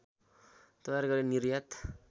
तयार गरी निर्यात